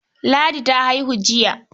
Ladi ta haihi jiya.